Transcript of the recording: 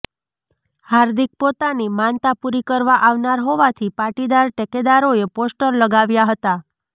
હાર્દિક પોતાની માનતા પુરી કરવા આવનાર હોવાથી પાટીદાર ટેકેદારોએ પોસ્ટર લગાવ્યા હતા